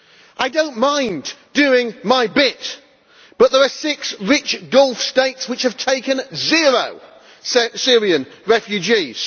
I do not mind doing my bit but there are six rich Gulf States which have taken zero Syrian refugees.